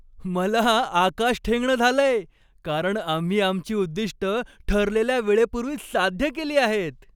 मला आकाश ठेंगणं झालंय, कारण आम्ही आमची उद्दिष्टं ठरलेल्या वेळेपूर्वीच साध्य केली आहेत!